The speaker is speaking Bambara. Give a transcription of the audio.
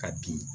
Ka bin